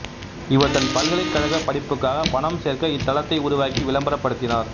இவர் தன் பல்கலைக்கழக படிப்புக்காக பணம் சேர்க்க இத்தளத்தை உருவாக்கி விளம்பரப்படுத்தினார்